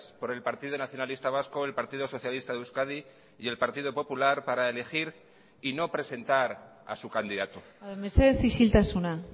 por el partido nacionalista vasco el partido socialista de euskadi y el partido popular para elegir y no presentar a su candidato mesedez isiltasuna